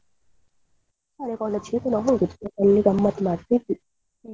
ಅಲ್ಲಿ ಗಮ್ಮತ್ ಮಾಡ್ತಿದ್ವಿ.